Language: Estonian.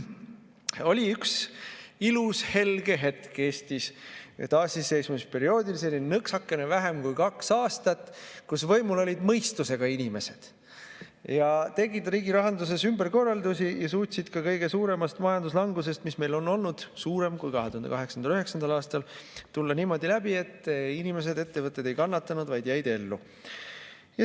Oli üks ilus helge hetk Eestis taasiseseisvumisperioodil, nõksakene vähem kui kaks aastat, kui võimul olid mõistusega inimesed, kes tegid riigi rahanduses ümberkorraldusi ja suutsid ka kõige suuremast majanduslangusest, mis meil on olnud – suurem kui 2008.–2009. aastal –, tulla niimoodi läbi, et inimesed ega ettevõtted ei kannatanud, nad jäid ellu.